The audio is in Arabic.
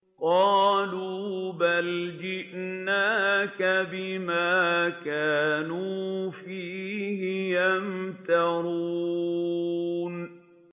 قَالُوا بَلْ جِئْنَاكَ بِمَا كَانُوا فِيهِ يَمْتَرُونَ